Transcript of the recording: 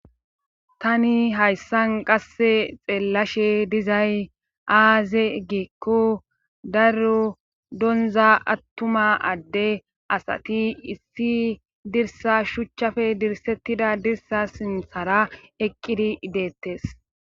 tani hayssan qasse xeellashe dizay aaze geekko daro donza attuma adde asati issi dirsa shuchchafe dirsettida dirsa sinthara eqqidi ideettes